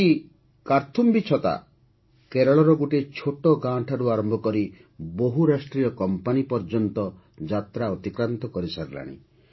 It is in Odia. ଆଜି କାର୍ଥୁମ୍ବୀ ଛତା କେରଳର ଗୋଟିଏ ଛୋଟ ଗାଁ ଠାରୁ ଆରମ୍ଭ କରି ବହୁରାଷ୍ଟ୍ରୀୟ କମ୍ପାନୀ ପର୍ଯ୍ୟନ୍ତ ଯାତ୍ରା ଅତିକ୍ରାନ୍ତ କରିସାରିଲାଣି